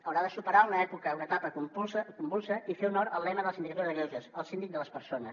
haurà de superar una època una etapa convulsa i fer honor al lema de la sindicatura de greuges el síndic de les persones